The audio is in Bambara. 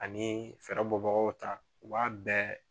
Ani fɛrɛbɔbagaw ta u b'a bɛɛ